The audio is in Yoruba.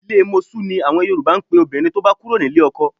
Ilé mosú ni Yòrùbá ń pe obìnrin tó bá kúrò nílé ọkọ